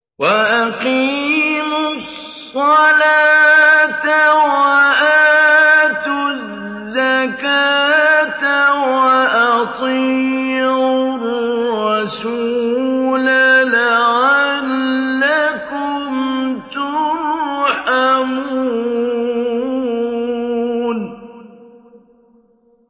وَأَقِيمُوا الصَّلَاةَ وَآتُوا الزَّكَاةَ وَأَطِيعُوا الرَّسُولَ لَعَلَّكُمْ تُرْحَمُونَ